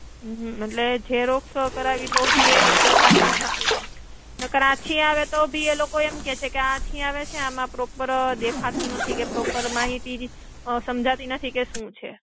હમ્મ. મતલબ એ Xerox કરાવીએ તો બી એ પછી ઘાટી જ આવે એમ. નકર આછી આવે તો બી એલોકો એમ કેશે કે આ આછી આવે છે, આમ proper દેખાતું નથી કે proper માહિતી અ સમજાતી નથી કે શું છે.